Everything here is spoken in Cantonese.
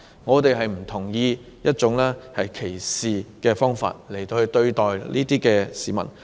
我們不同意以歧視方式對待個別市民。